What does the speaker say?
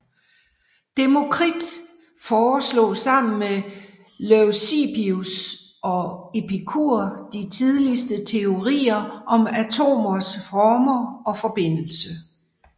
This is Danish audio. Demokrit foreslog sammen med Leucippus og Epikur de tidligste teorier om atomers former og forbindelse